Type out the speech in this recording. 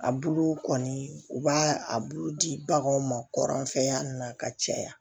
A buluw kɔni u b'a a bulu di baganw ma kɔrɔ an fɛ yan ka caya